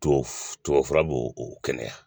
Tubabu tubabu fura b'o o kɛnɛya